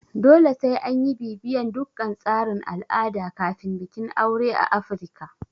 Dole sai anyi bibiyan dukkan tsarin al'ada kafin bikin aure a Afirika